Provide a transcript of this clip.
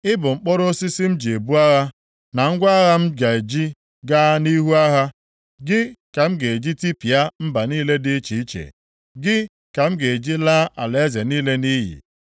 “Ị bụ mkpọrọ osisi m ji ebu agha, na ngwa agha m ga-eji gaa nʼihu agha. Gị ka m ga-eji tipịa mba niile dị iche iche, gị ka m ga-eji laa alaeze niile nʼiyi;